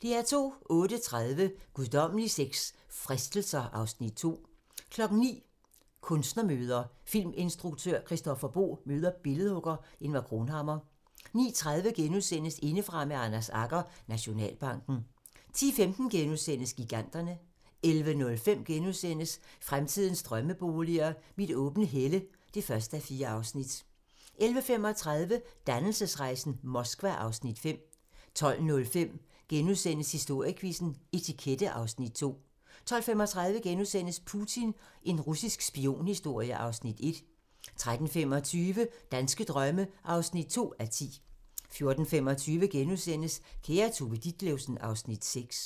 08:30: Guddommelig sex - fristelser (Afs. 2) 09:00: Kunstnermøder: Filminstruktør Christoffer Boe møder billedhugger Ingvar Cronhammar 09:30: Indefra med Anders Agger - Nationalbanken * 10:15: Giganterne * 11:05: Fremtidens drømmeboliger: Mit åbne helle (1:4)* 11:35: Dannelsesrejsen - Moskva (Afs. 5) 12:05: Historiequizzen: Etikette (Afs. 2)* 12:35: Putin - en russisk spionhistorie (Afs. 1)* 13:25: Danske drømme (2:10) 14:25: Kære Tove Ditlevsen (Afs. 6)*